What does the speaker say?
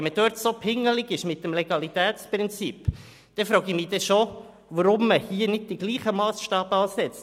Wenn man in diesem Bereich so pingelig ist mit dem Legalitätsprinzip, dann frage ich mich schon, weshalb man hier nicht den gleichen Massstab ansetzt.